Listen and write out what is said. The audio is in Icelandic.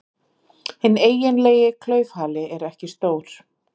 Hinn eiginlegi klaufhali er ekki stór.